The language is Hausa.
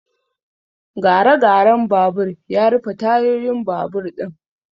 Gare garen babur ya rufe tayoyin babur ɗin